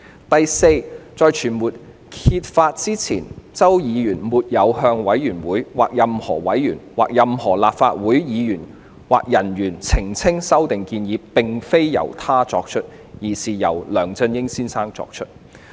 第四，在傳媒揭發之前，周議員並沒有向委員會、任何委員、任何立法會議員或人員澄清修訂建議並非由他作出，而是由梁先生作出。